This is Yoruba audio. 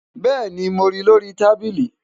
bẹ́ẹ̀ni, mo ri lórí i tábìlì